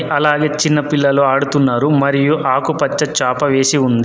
అలాగే చిన్న పిల్లలు ఆడుతున్నారు మరియు ఆకుపచ్చ చాప వేసి ఉంది.